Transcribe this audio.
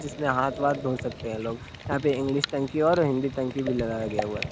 जिसमें हाथ वाथ धो सकते हैं लोग यहाँ पे इंग्लिश टंकी और हिंदी टंकी भी लगाया गया हुआ।